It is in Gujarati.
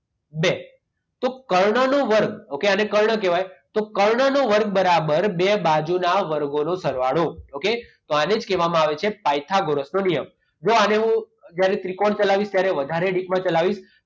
બે. તો કર્ણનો વર્ગ ઓકે આને કર્ણ કહેવાય તો કર્ણનો વર્ગ બરાબર બે બાજુના વર્ગોનો સરવાળો. ઓકે? તો આને જ કહેવામાં આવે છે પાયથાગોરસનો નિયમ. જો આને હું જ્યારે ત્રિકોણ ચલાવીશ ત્યારે વધારે ડીપમાં ચલાવીશ.